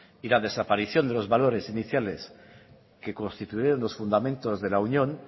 y la desaparición de los valores iniciales que constituyeron los fundamentos de la unión